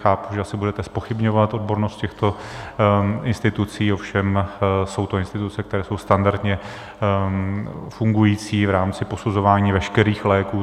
Chápu, že asi budete zpochybňovat odbornost těchto institucí, ovšem jsou to instituce, které jsou standardně fungující v rámci posuzování veškerých léků.